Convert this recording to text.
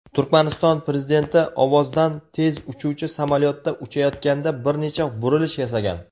Turkmaniston Prezidenti ovozdan tez uchuvchi samolyotda uchayotganda bir necha burilish yasagan.